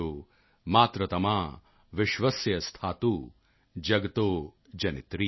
ਯੂਯਮ ਹਿਸਥਾ ਭਿਸ਼ਜੋ ਮਾਤ੍ਰਿਤਮਾ ਵਿਸ਼ਵਾਸਿਆ ਸਥਾਤੂ ਜਗਾਤੋ ਜਨਿਤਰੀ